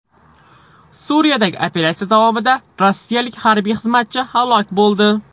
Suriyadagi operatsiya davomida rossiyalik harbiy xizmatchi halok bo‘ldi.